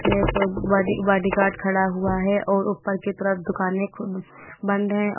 मे एक body bodyguard खड़ा हुआ है और ऊपर की तरफ दुकानें खु बंद हैं और--